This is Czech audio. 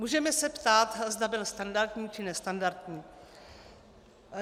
Můžeme se ptát, zda byl standardní, či nestandardní.